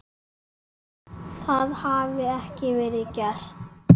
Það hafi ekki verið gert.